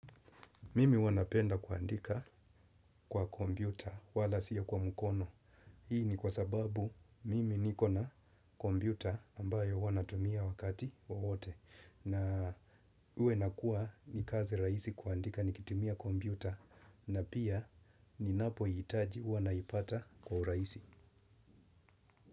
Mimi huwa napenda kuandika kwa kompyuta wala siyo kwa mukono. Hii ni kwa sababu mimi niko na kompyuta ambayo huwa natumia wakati wowote. Na uwe inakuwa ni kazi rahisi kuandika nikitumia kompyuta na pia ninapo hitaji huwa naipata kwa urahisi.